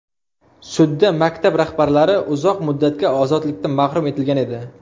Sudda maktab rahbarlari uzoq muddatga ozodlikdan mahrum etilgan edi.